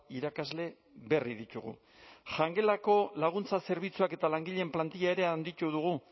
irakasle berri ditugu jangelako laguntza zerbitzuak eta langileen plantilla ere handitu dugu